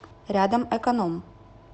рядом эконом